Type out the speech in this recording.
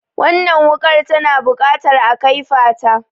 Wannan wuƙar tana buƙatar a kaifata.